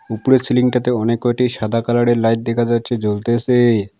উপরের ছিলিংটাতে অনেক কয়টি সাদা কালারের লাইট দেখা যাচ্ছে জ্বলতেসে।